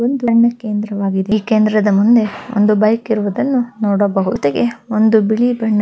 ಧಾರ್ಮ ಕೇಂದ್ರವಾಗಿದ್ದು ಈ ಕೇಂದ್ರದ ಮುಂದೆ ಒಂದು ಬೈಕ್ ಇರುವುದನ್ನು ನೋಡಬಹುದು ಜೊತೆಗೆ ಒಂದು ಬಿಳಿ ಬಣ್ಣ--